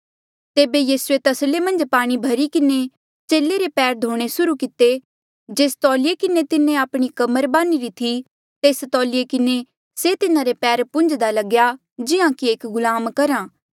तेबे यीसूए तसले मन्झ पाणी भरी किन्हें चेले रे पैर धोणे सुर्हू किते होर जेस तौलिए किन्हें तिन्हें आपणी कमर बान्हिरा थी तेस तौलिए किन्हें से तिन्हारे पैर पुन्झ्दा लग्या जिहां एक गुलाम करहा